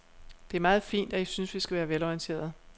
Det er meget fint, at I synes, vi skal være velorienterede.